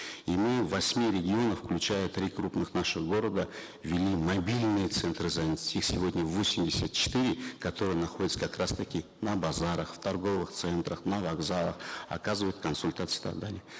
и мы в восьми регионах включая три крупных наших города ввели мобильные центры занятости их сегодня восемьдесят четыре которые находятся как раз таки на базарах в торговых центрах на вокзалах оказывают консультации и так далее